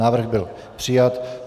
Návrh byl přijat.